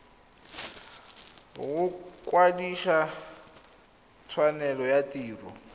go kwadisa tshwanelo ya tiro